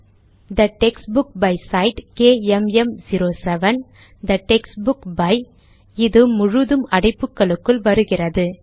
they textbook by side கேஎம்எம்07 the textbook by இது முழுதும் அடைப்புகளுக்குள் வருகிறது